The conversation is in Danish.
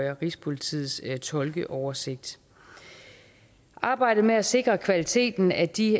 rigspolitiets tolkeoversigt arbejdet med at sikre kvaliteten af de